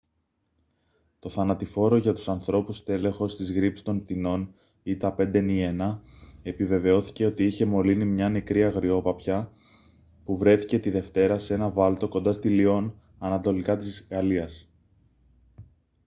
το θανατηφόρο για τους ανθρώπους στέλεχος της γρίπης των πτηνών h5n1 επιβεβαιώθηκε ότι είχε μολύνει μια νεκρή αγριόπαπια που βρέθηκε τη δευτέρα σε έναν βάλτο κοντά στη λυών ανατολικά της γαλλίας